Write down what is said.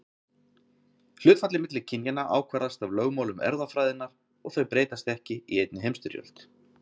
Hlutfallið milli kynjanna ákvarðast af lögmálum erfðafræðinnar og þau breytast ekki í einni heimstyrjöld.